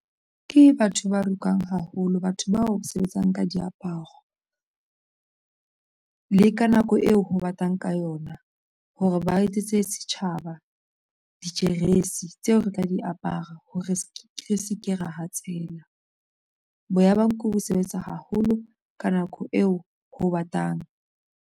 Ke batho ba rokang haholo batho bao sebetsang ka diaparo le ka nako eo ho batang ka yona hore ba etsetse setjhaba dijeresi tseo re tla di apara ha re se ke ra hatsela boya ba nku bo sebetsa haholo ka nako eo ho batang.